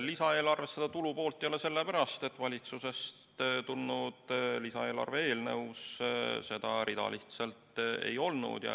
Lisaeelarves seda tulupoolt ei ole sellepärast, et valitsusest tulnud lisaeelarve eelnõus seda rida lihtsalt ei olnud.